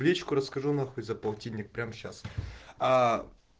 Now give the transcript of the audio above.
в личку расскажу на хуй за полтинник прямо сейчас